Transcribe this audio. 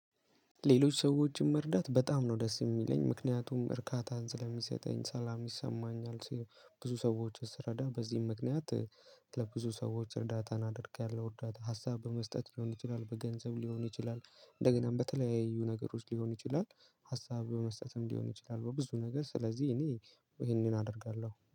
ሌሎች ሰዎችን መርዳት በጣም ነው ደስ የሚለኝ ምክንያቱም እርካታን ስለሚሰጠኝ ሰላም ይሰማኛል። ብዙ ሰዎችን ስረዳ በዚህም ምክንያት ለብዙ ሰዎች እርዳታን አደርጋለሁ እርዳታ ሀሳብ በመስጠት ሊሆን ይችላል። በገንዘብ ሊሆን ይችላል እንደገናም በተለያዩ ነገሮች ሊሆን ይችላል ሀሳብ በመስጠትም ሊሆን ይችላል። በብዙ ነገር ስለዚህ እኔ ይሄንን አደርጋለሁ